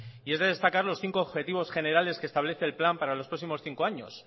y es de destacar los cinco objetivos generales que establece el plan para los próximos cinco años